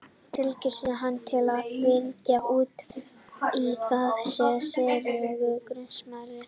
Tilraunir hans til að fylla út í það eru sérlega grunsamlegar.